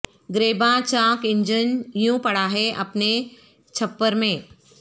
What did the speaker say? گریباں چاک انجن یوں پڑا ہے اپنے چھپر میں